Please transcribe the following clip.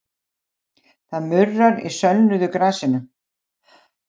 Það murrar í sölnuðu grasinu.